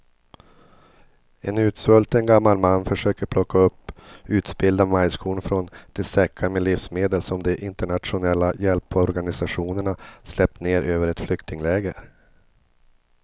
En utsvulten gammal man försöker plocka upp utspillda majskorn från de säckar med livsmedel som de internationella hjälporganisationerna släppt ner över ett flyktingläger.